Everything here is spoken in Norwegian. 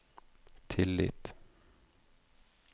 tillit